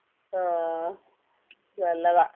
അഹ് നല്ലതാ